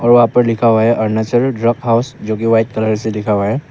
वहां पर लिखा हुआ है अरुणाचल ड्रॉप हाउस जो की वाइट कलर से लिखा हुआ है।